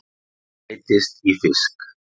Breytist í fisk.